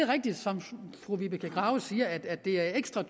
rigtigt som fru vibeke grave siger at det er ekstra